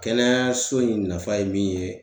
Kɛnɛyaso in nafa ye min ye